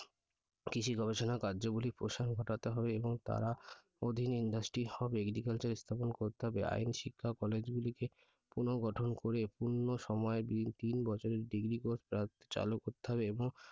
কৃষি গবেষণা কার্যাবলী প্রসারণ ঘটাতে হবে এবং তারা অধীন industry হবে। agricultural স্থাপন করতে হবে আইন শিক্ষা college গুলিকে পুনর্গঠন করে পূর্ণ সময় তিন বছরের degree course চালু করতে হবে এবং